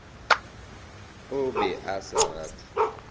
a be a sa rate